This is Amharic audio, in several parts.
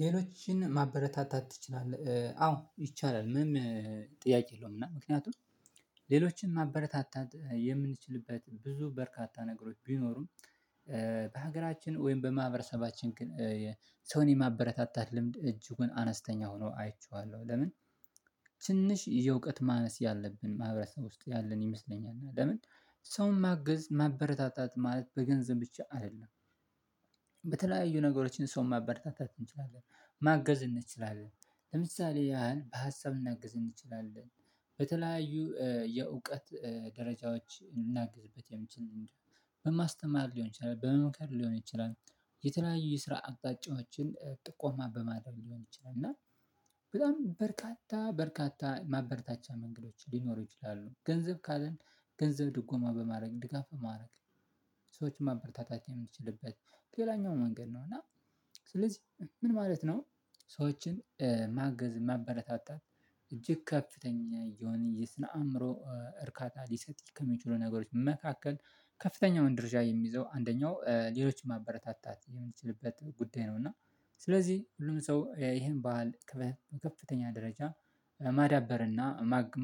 ሌሎችን ማበረታታት ትችላለህ? አዎ ይቻላል ምንም ጥያቄ የለውም። እና ምክንያቱም ሌሎችን ማበረታታት የምንችልበት ብዙ በርካታ ነገሮች ቢኖሩም በሀገራችን ወይም በማህበረሰባችን ሰውን የማበረታታት ልምድ እጅጉን አነስተኛ ሆኖ አይቼዋለሁ። ለምን ትንሽ የእውቀት ማነስ ያለብን ማህበረሰብ ውስጥ ያለን ይመስለኛል። ለምን ሰውን ማገዝ ማበረታታት ማለት በገንዘብ ብቻ አይደለም። በተለያዩ ነገሮችን ሰው ማበረታታት እንችላለን ማገዝ እንችላለን ለምሳሌ ያህል በሀሳብ ልናግዝ እንችላለን በተለያዩ የእውቀት ደረጃዎች እናግዝበት የሚችል በማስተማር ሊሆን ይችላል በመምከር ሊሆን ይችላል። የተለያዩ የስራ አቅጣጫዎችን ጥቆማ በማድረግ ሊሆን ይችላል እና በጣም በርካታ በርካታ ማበርታቻ መንገዶች ሊኖሩ ይችላሉ። ገንዘብ ካልን ገንዘብ ድጎማ በማድረግ ድጋፍ በማረግ ሰዎች ማበርታታት የምንችልበት ሌላኛው መንገድ ነው። እና ስለዚህ ምን ማለት ነው? ሰዎችን ማገዝ ማበረታታት እጅግ ከፍተኛ የሆነ የስነ አእምሮ እርካታ ሊሰጥ ከሚችሉ ነገሮች መካከል ከፍተኛው ድርጃ የሚይዘው አንደኛው ሌሎችን ማበረታታት የምንችልበት ጉዳይ ነው። እና ስለዚህ ሁሉም ሰው ይሄን ባህል ከፍተኛ ደረጃ ማዳበርና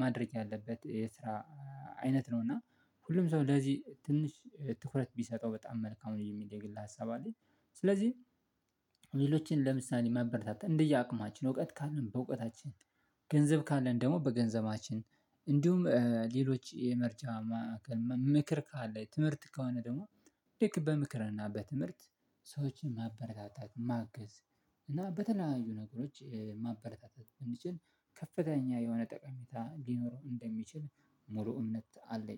ማድረግ ያለበት የስራ አይነት ነው እና ሁሉም ሰው ለዚህ ትንሽ ትኩረት ቢሰጠው በጣም መልካም ነው የሚል የግል ሀሳብ አለኝ። ስለዚህ ሌሎችን ለምሳሌ ማበረታታት እንደየአቅማችን እውቀት ካልን በእውቀታችን ገንዘብ ካለን ደግሞ በገንዘባችን እንዲሁም ሌሎች የምርጫ መምክር ካለ ትምህርት ከሆነ ደግሞ ልክ በምክርና በትምህርት ሰዎችን ማበረታታት ማገዝ እና በተለያዩ ነገሮች ማበረታታት እንዲችል ከፍተኛ የሆነ ጠቃሜታ ሊኖረው እንደሚችል ሙሉ እምነት አለኝ